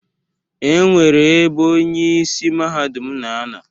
E nwere ebe onye isi Mahadum na ano.